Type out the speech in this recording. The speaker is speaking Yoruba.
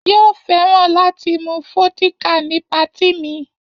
Yóò fẹ́ràn láti mu vódíkà ní patí mi.